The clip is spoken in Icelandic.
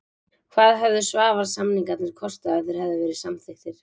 Hvað hefðu Svavars-samningarnir kostað ef þeir hefðu verið samþykktir?